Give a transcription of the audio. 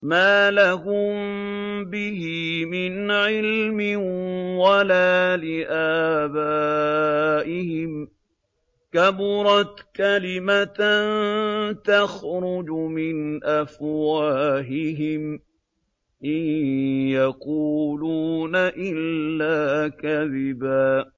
مَّا لَهُم بِهِ مِنْ عِلْمٍ وَلَا لِآبَائِهِمْ ۚ كَبُرَتْ كَلِمَةً تَخْرُجُ مِنْ أَفْوَاهِهِمْ ۚ إِن يَقُولُونَ إِلَّا كَذِبًا